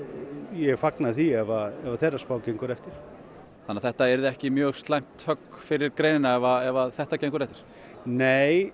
ég fagna því ef þeirra spá gengur eftir þannig að þetta yrði ekki mjög slæmt högg fyrir greinina ef þetta gengur eftir nei